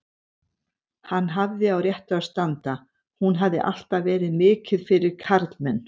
Hann hafði á réttu að standa, hún hafði alltaf verið mikið fyrir karlmenn.